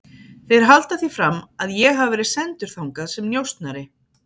Þeir halda því fram að ég hafi verið sendur þangað sem njósnari